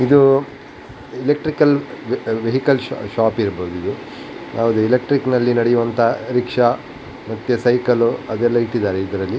ಇದು electrical electrical shop ಇರ್ಬಹುದು ಇದು ಯಾವ್ದ್ ಎಲೆಕ್ಟ್ರಿಕಲ್ ಅಲ್ಲಿ ನಡೆಯುವ ರಿಕ್ಷಾ ಮತ್ತೆ ಸೈಕಲ್ ಅದೆಲ್ಲ ಇಟ್ಟಿದ್ದಾರೆ ಇದರಲ್ಲಿ --